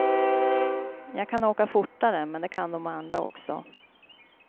Jag kan åka fortare, men det kan dom andra också.